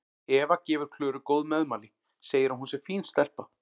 Eva gefur Klöru góð meðmæli, segir að hún sé fín stelpa.